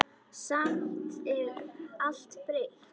Samt er allt breytt.